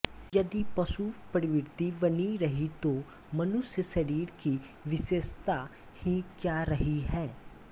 यदि पशु प्रवृत्ति बनी रही तो मनुष्य शरीर की विशेषता ही क्या रही है